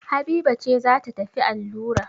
Habiba ce za ta tafi allura.